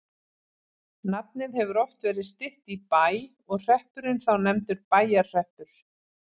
Nafnið hefur oft verið stytt í Bæ og hreppurinn þá nefndur Bæjarhreppur.